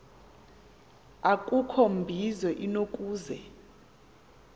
akukho mbizo inokuze